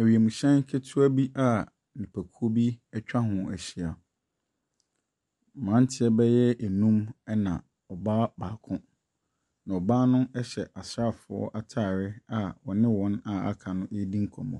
Ewiemuhyɛn ketewa bi a nipakuo bi ɛtwa hɔ ɛhyia. Mmaranteɛ bɛyɛ enum ɛna ɔbaa baako. Ɔbaa no ɛhyɛ asraafoɔ ataare a ɔne wɔn a aka no eredi nkɔmmɔ.